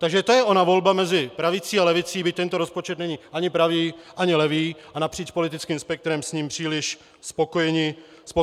Takže to je ona volba mezi pravicí a levicí, byť tento rozpočet není ani pravý, ani levý a napříč politickým spektrem s ním příliš spokojeni nejsme.